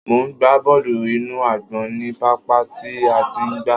Mò ń gba bọ́ọ́lù inú àgbọ̀n ní pápá tí a ti ń gba.